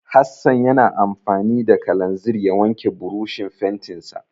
Hassan ya na amfani da kalanzir ya wanke burushin fentinsa.